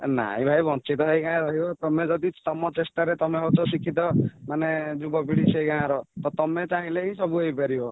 ନାଇଁ ଭାଇ ବଂଚିତ ହେଇ କାଇଁ ରହିବ ତମେ ଯଦି ତମ ଚେଷ୍ଟାରେ ତମେ ହଉଚ ଶିକ୍ଷିତ ମାନେ ଯୁବପିଢ଼ି ସେଇ ଗାଁର ତ ତମେଚାହିଁଲେ ହିଁ ସବୁହେଇପାରିବ